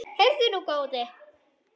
Heyrðu nú, góði!